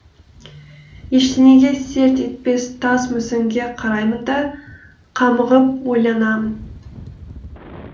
ештеңеге селт етпес тас мүсінге қараймын да қамығып ойланамын